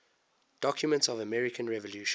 documents of the american revolution